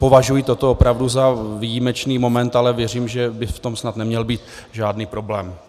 Považuji toto opravdu za výjimečný moment, ale věřím, že by v tom snad neměl být žádný problém.